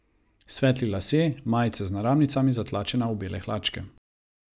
Svetli lasje, majica z naramnicami zatlačena v bele hlačke.